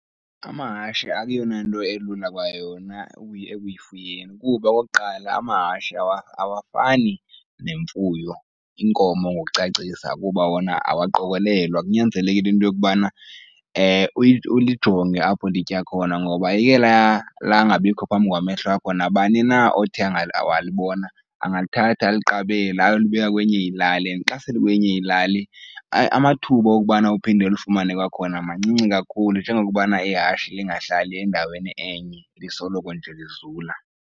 Amahashi akuyona nto elula kwayona ekufuyeni, kuba okokuqala amahashi awafani nemfuyo, iinkomo ngokucacisa kuba wona awaqokelelwa. Kunyanzeleke into yokubana ulijonge apho litya khona ngoba eke langabikho phambi kwamehlo akho nabani na othe walibona angalithatha aliqabele ayolibeka kwenye ilali and xa sele likwenye ilali amathuba okubana uphinde ulifumane kwakhona mancinci kakhulu njengokubana ihashi lingahlali endaweni enye, lisoloko nje lizula.